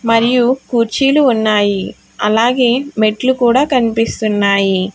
మరియు కుర్చీలు ఉన్నాయి అలాగే మెట్లు కూడా కనిపిస్తున్నాయి.